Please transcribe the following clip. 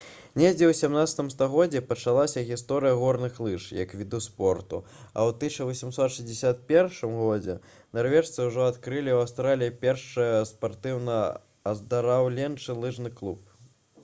недзе ў 17 стагоддзі пачалася гісторыя горных лыж як віду спорту а ў 1861 годзе нарвежцы ўжо адкрылі ў аўстраліі першы спартыўна-аздараўленчы лыжны клуб